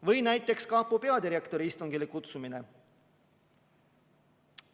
Või näiteks kapo peadirektori istungile kutsumine.